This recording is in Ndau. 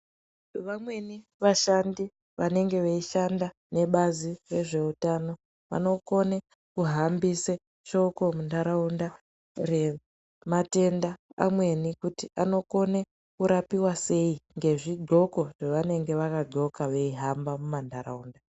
Vamweni vashandi vanenge veishanda nebazi rezveutano, vanokone kuhambise shoko muntaraunda rematenda amweni kuti anokone kurapiwa sei? ngezvigxoko zvevanenge vakagxoka veihamba mumantaraunda.